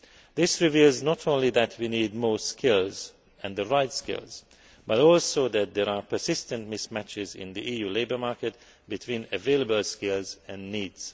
This reveals not only that we need more skills and the right skills, but also that there are persistent mismatches in the EU labour market between available skills and needs.